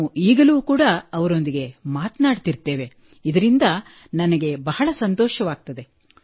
ನಾವು ಈಗಲೂ ಕೂಡಾ ಅವರೊಂದಿಗೆ ಮಾತನಾಡುತ್ತಿರುತ್ತೇವೆ ಇದಿಂದ ನನಗೆ ಬಹಳ ಸಂತೋಷವಾಗುತ್ತದೆ